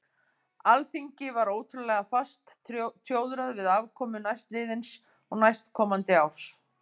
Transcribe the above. Alþingi var ótrúlega fast tjóðrað við afkomu næstliðins og næstkomandi árs.